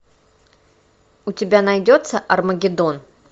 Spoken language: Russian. у тебя найдется армагеддон